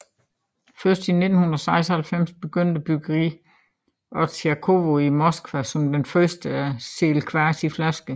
Først i 1996 begyndte bryggeriet Otsjakovo i Moskva som det første at sælge kvas i flasker